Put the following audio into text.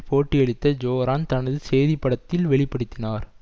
பேட்டியளித்த ஜோரான் தனது செய்திப்படத்தில் வெளி படுத்தினார்